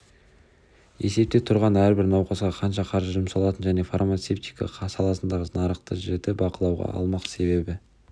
есепте тұрған әрбір науқасқа қанша қаржы жұмсалатынын және фармацевтика саласындағы нарықты жіті бақылауға алмақ себебі